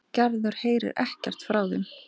Gerður heyrir ekkert frá þeim.